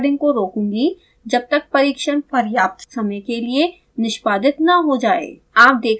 अब मैं इस रेकॉर्डिंग को रोकूंगी जब तक परीक्षण पर्याप्त समय के लिए निष्पादित न हो जाएँ